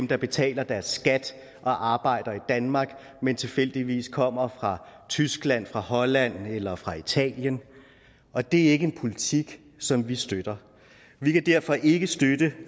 der betaler deres skat og arbejder i danmark men tilfældigvis kommer fra tyskland fra holland eller fra italien og det er ikke en politik som vi støtter vi kan derfor ikke støtte